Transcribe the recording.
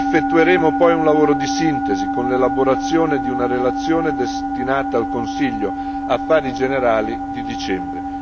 Effettueremo poi un lavoro di sintesi, con l'elaborazione di una relazione destinata al Consiglio Affari generali di dicembre.